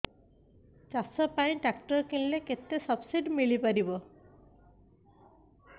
ଚାଷ ପାଇଁ ଟ୍ରାକ୍ଟର କିଣିଲେ କେତେ ସବ୍ସିଡି ମିଳିପାରିବ